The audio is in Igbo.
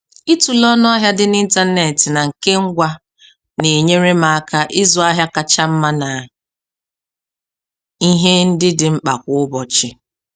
Ịtule ọnụahịa dị n'ịntanetị na nke ngwa na-enyere m aka ịzụ ahịa kacha mma na ihe ndị dị mkpa kwa ụbọchị.